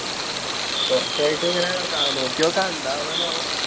കൊറച്ച് ആയിട്ട് ഇങ്ങനേ നോക്കി നോക്കാം എന്താവുകാന്നാവോ